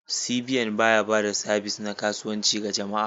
CBN ba ya ba da sabis na kasuwanci ga jama'a.